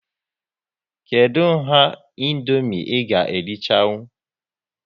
Kedụ nha Indomie ị ga erichanwu?